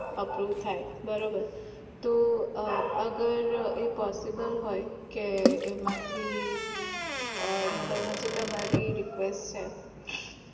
aprove થાય બરોબર તો અગર એ possible હોય કે એમાંથી મતલબ હજુ તમારી request છે